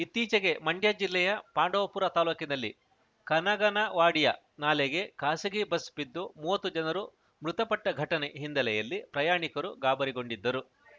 ಇತ್ತೀಚೆಗೆ ಮಂಡ್ಯ ಜಿಲ್ಲೆಯ ಪಾಂಡವಪುರ ತಾಲೂಕಿನಲ್ಲಿ ಕನಗನವಾಡಿಯ ನಾಲೆಗೆ ಖಾಸಗೀ ಬಸ್‌ ಬಿದ್ದು ಮೂವತ್ತು ಜನರು ಮೃತಪಟ್ಟಘಟನೆ ಹಿನ್ನೆಲೆಯಲ್ಲಿ ಪ್ರಯಾಣಿಕರು ಗಾಬರಿಗೊಂಡಿದ್ದರು